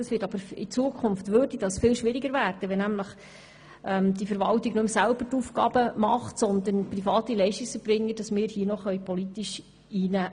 Dies würde in Zukunft schwieriger werden, wenn diese Aufgaben nicht mehr von der Verwaltung, sondern von privaten Leistungserbringern ausgeführt würden.